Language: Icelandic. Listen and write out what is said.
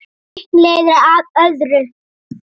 Eitt leiðir af öðru.